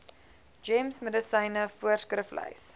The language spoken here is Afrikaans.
gems medisyne voorskriflys